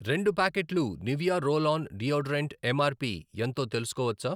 రెండు ప్యాకెట్లు Nivea roll on deodorant MRP ఎంతో తెలుసుకోవచ్చా?